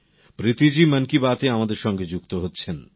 প্রীতি জী মন কি বাত এ আমাদের সাথে যুক্ত হচ্ছেন